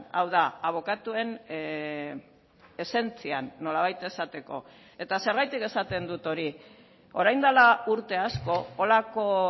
hau da abokatuen esentzian nolabait esateko eta zergatik esaten dut hori orain dela urte asko holako